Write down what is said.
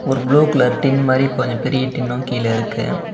ஒரு blue colour tin மாறி கொஞ்சோ பெரிய டின்னும் கீழ இருக்கு.